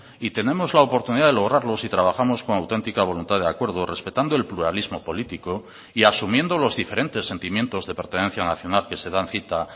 y tenemos la oportunidad de lograrlo si trabajamos con auténtica voluntad de acuerdo respetando el pluralismo político y asumiendo los diferentes sentimientos de pertenencia nacional que se dan cita